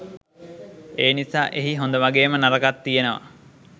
එනිසා එහි හොඳ වගේම නරකත් තියනවා